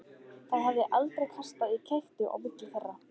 Það hafði aldrei kastast í kekki á milli þeirra.